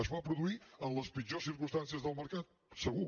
es va produir en les pitjors circumstàncies del mercat segur